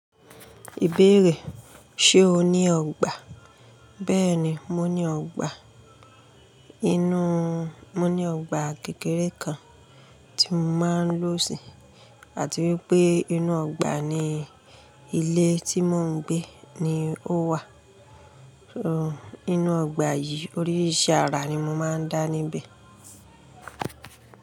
Ìbéèrè, ṣe o ní ọgbà? Bẹ́ẹ̀ni, mo ní ọgbà. Inú, mo ní ọgbà kékeré kan tí mo máa ń lò sí, àti wípé inú ọgbà ní ilé tí mo ń gbé ni ó wà. Inú ọgbà yìí oríṣìríṣìí ara ni mo máa ń dá níbẹ̀.